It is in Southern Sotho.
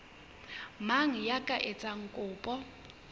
mang ya ka etsang kopo